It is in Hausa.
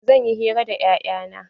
Zanyi hira da 'ya'yan na.